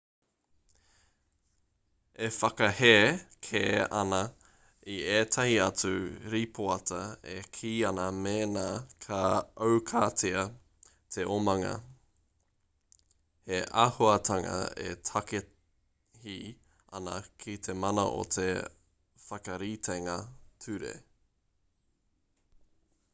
e whakahē kē ana i ētahi atu rīpoata e kī ana mēnā ka aukatia te omanga he āhuatanga e takahi ana i te mana o te whakaritenga ture